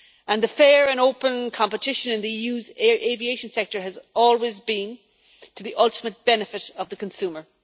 And the fair and open competition in the EU's aviation sector has always been to the ultimate benefit of the consumer.